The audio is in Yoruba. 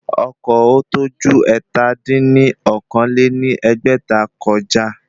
Ọkọ̀ ọ̀ tó ju ẹ̀ta dín ní okòó-lé-ní-ẹgbẹ́ta kọjá